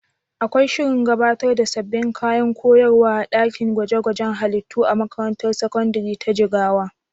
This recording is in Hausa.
Akwai shirin gabatar da sabbin kayan koyarwa a ɗakin gwaje-gwajen halittu a makarantar sakandare ta Jigawa?